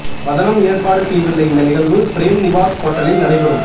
வதனம் ஏற்பாடு செய்துள்ள இந்த நிகழ்வு பிரேம்நிவாஸ் ஹோட்டலில் நடைபெறும்